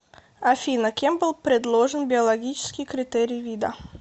афина кем был предложен биологический критерий вида